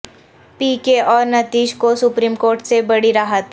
پی K اور نتیش کو supreme court سے بڑی راحت